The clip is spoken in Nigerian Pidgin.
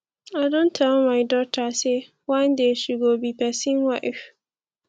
i don tell my dota sey one day she go be pesin wife